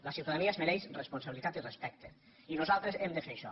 la ciutadania es mereix responsabilitat i respecte i nosaltres hem de fer això